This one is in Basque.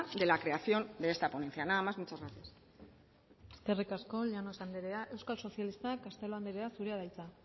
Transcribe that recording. de la creación de esta ponencia nada más muchas gracias eskerrik asko llanos andrea euskal sozialistak castelo andrea zurea da hitza